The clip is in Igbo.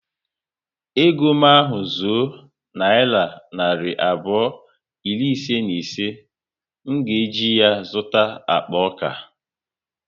Ego m ahu zuo nayira narị abụọ iri ise na ise, m ga eji ya zụta akpa ọka